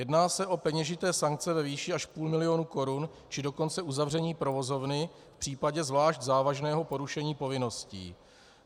Jedná se o peněžité sankce ve výši až půl milionu korun, či dokonce uzavření provozovny v případě zvlášť závažného porušení povinností.